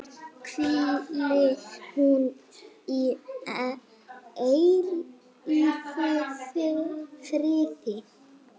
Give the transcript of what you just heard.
Hvíli hún í eilífum friði.